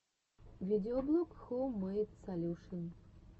видеоблог хоум мэйд солюшен